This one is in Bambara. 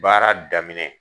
Baara daminɛ